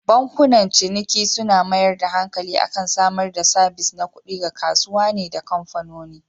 Bankunan ciniki suna mayar da hankali akan samar da sabis na kuɗi ga kasuwane da kamfanoni.